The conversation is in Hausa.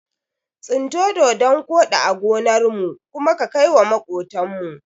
Tsinto dodon koɗi a gonarmu kuma ka kaiwa maƙotan mu.